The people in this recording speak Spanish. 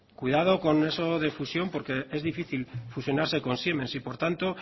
cuidado con eso de fusión porque es difícil fusionarse con siemens y por tanto